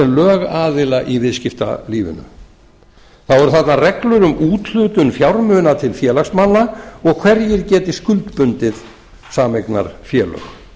lögaðila í viðskiptalífinu þá eru þarna reglur um úthlutun fjármuna til félagsmanna og hverjir geti skuldbundið sameignarfélög